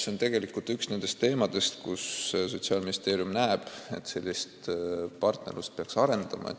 See on tegelikult üks nendest kohtadest, kus Sotsiaalministeerium näeb, et peaks partnerlust arendama.